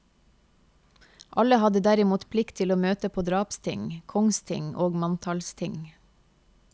Alle hadde derimot plikt til å møte på drapsting, kongsting og manntallsting.